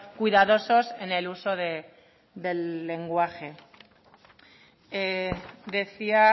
cuidadosos en el uso del lenguaje decía